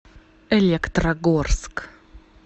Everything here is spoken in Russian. электрогорск